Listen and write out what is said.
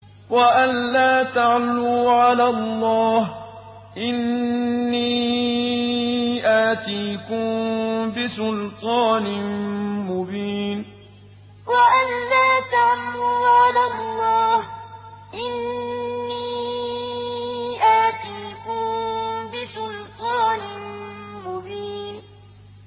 وَأَن لَّا تَعْلُوا عَلَى اللَّهِ ۖ إِنِّي آتِيكُم بِسُلْطَانٍ مُّبِينٍ وَأَن لَّا تَعْلُوا عَلَى اللَّهِ ۖ إِنِّي آتِيكُم بِسُلْطَانٍ مُّبِينٍ